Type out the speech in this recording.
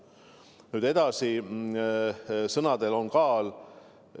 Nüüd edasi, sõnadel on kaal.